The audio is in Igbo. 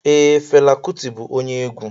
Ee, Fela Kuti bụ onye egwu.